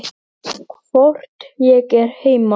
Hvort ég er heima?